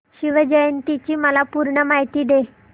शिवजयंती ची मला पूर्ण माहिती दे